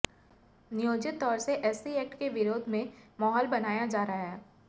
नियोजित तौर से एससी एक्ट के विरोध में माहौल बनाया जा रहा है